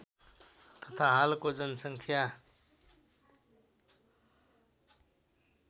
तथा हालको जनसङ्ख्या